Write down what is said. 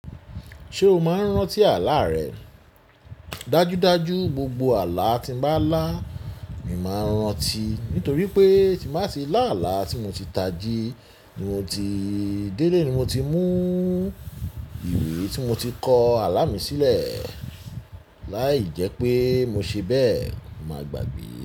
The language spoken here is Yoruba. Ṣé o máa ń rántí àlá rẹ? Dájúdájú, gbogbo àlá tí mo bá lá, ni mo ń rántí. Nítorí pé, tí n bá tì lá àlá tí mo ti tají, ni mo ti délé, tí mo ti mú ìwé tí mo ti kọ́ àlá mi sílẹ̀. Láì jẹ́ pé mo ṣe bẹ́ẹ̀, mo máa gbàgbé.